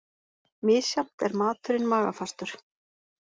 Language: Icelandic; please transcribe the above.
Misjafnt er maturinn magafastur.